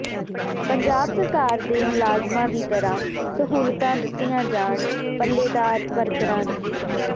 ਪੰਜਾਬ ਸਰਕਾਰ ਦੇ ਮੁਲਾਜ਼ਮਾਂ ਦੀ ਤਰ੍ਹਾਂ ਸਹੂਲਤਾਂ ਦਿੱਤੀਆਂ ਜਾਣ ਪੱਲੇਦਾਰ ਵਰਕਰਾਂ ਨੂੰ